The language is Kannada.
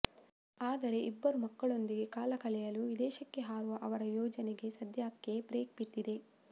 ಆದರೆ ಇಬ್ಬರು ಮಕ್ಕಳೊಂದಿಗೆ ಕಾಲ ಕಳೆಯಲು ವಿದೇಶಕ್ಕೆ ಹಾರುವ ಅವರ ಯೋಜನೆಗೆ ಸದ್ಯಕ್ಕೆ ಬ್ರೇಕ್ ಬಿದ್ದಿದೆ